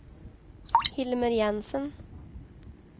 Hilmer Jensen